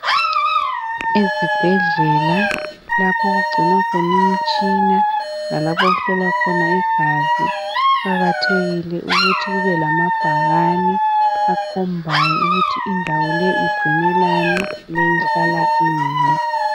Ezibhedlela lapho okugcinwa khona imitshina lalapho okuhlohlwa khona igazi kuqakathekile ukuthi kube lamabhakane akhombayo ukuthi indawo leyi igcinelani njalo ihlala ini.